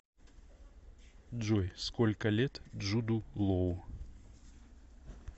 джой сколько лет джуду лоу